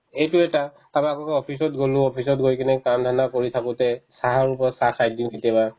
এইটো এটা কাৰণ আগতে office ত গ'লো office ত গৈ কিনে কাম ধান্ধা কৰি থাকোতে চাহৰ ওপৰত চাহ খাই দিও কেতিয়াবা